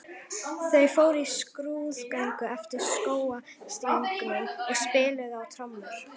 Þau fóru í skrúðgöngu eftir skógarstígnum og spiluðu á trommur.